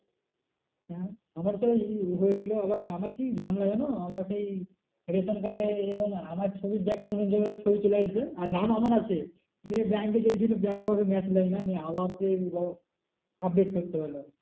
আহ আমার সেই এ হয়েছিল আবার আমার কি ঝামেলা জানো আমার সেই রেশন card এ এবং আমার ছবির জায়গায় অন্য জনের ছবি চলে এসেছে আর নাম আমার আছে। নিয়ে bank এ গিয়েছি bank এ আমাকে match নেয় না নিয়ে আবার সেই update করতে হলো।